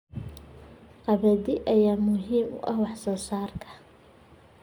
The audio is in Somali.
Qamadiga ayaa muhiim u ah wax soo saarka.